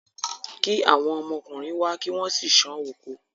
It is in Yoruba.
kí àwọn ọmọkùnrin wá kí wọ́n sì sán oko.